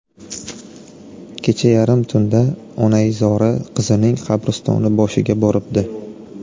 Kecha yarim tunda onaizori qizining qabristoni boshiga boribdi.